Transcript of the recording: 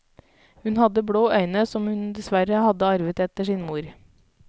Hun hadde blå øyne som hun dessverre hadde arvet etter sin mor.